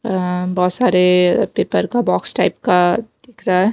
अ बहुत सारे पेपर का बॉक्स टाइप का दिख रहा है।